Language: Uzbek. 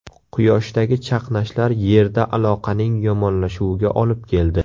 Quyoshdagi chaqnashlar Yerda aloqaning yomonlashuviga olib keldi.